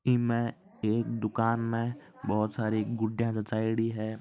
इनमे एक दुकान में बहुत सारी गुडिया जचायेड़ी है।